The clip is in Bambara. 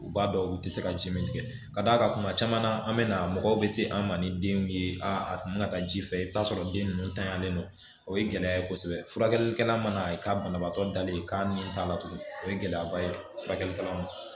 U b'a dɔn u tɛ se ka ji min tigɛ ka d'a kan kuma caman na an bɛ na mɔgɔw bɛ se an ma ni denw ye a man taa ji fɛ i bɛ t'a sɔrɔ den ninnu tanyalen don o ye gɛlɛya ye kosɛbɛ furakɛlikɛla mana banabaatɔ dalen k'a ni t'a latunu o ye gɛlɛyaba ye furakɛlikɛla ma